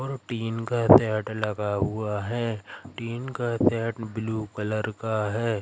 और टीन का सेट लगा हुआ है टीन का सेट ब्लू कलर का है।